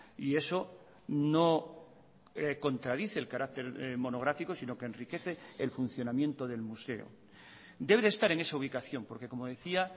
y eso no contradice el carácter monográfico sino que enriquece el funcionamiento del museo debe de estar en esa ubicación porque como decía